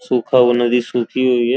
सुखा हुआ नदी सुखी हुई है।